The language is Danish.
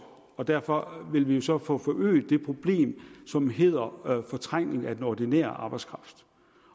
og derfor vil vi så få forøget det problem som hedder fortrængning af den ordinære arbejdskraft